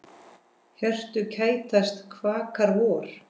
Hjörtu kætast, kvakar vor.